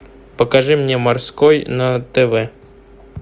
покажи мне морской на тв